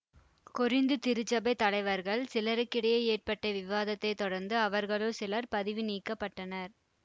Corinth திருச்சபைத் தலைவர்கள் சிலருக்கிடையே ஏற்பட்ட விவாதத்தை தொடர்ந்து அவர்களுள் சிலர் பதவிநீக்கப்பட்டனர்